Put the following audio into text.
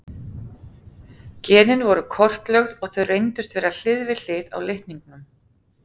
Genin voru kortlögð og þau reyndust vera hlið við hlið á litningnum.